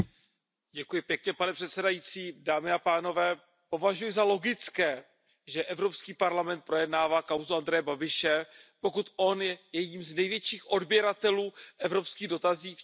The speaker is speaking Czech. Pane předsedající, považuji za logické, že Evropský parlament projednává kauzu Andreje Babiše, pokud on je jedním z největších odběratelů evropských dotací v České republice.